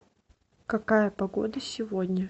какая погода сегодня